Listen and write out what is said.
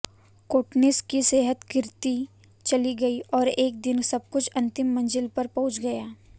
कोटनिस की सेहत गिरती चली गई और एक दिन सबकुछ अंतिम मंजिल पर पहुंच गया